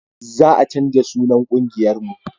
Za a canja sunan ƙungiyar mu